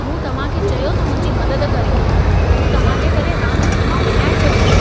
मूं तव्हां खे चयो त मुंहिंजी मदद करियो! मूं तव्हां जे करे रांदि हथ मां विञाए छॾी।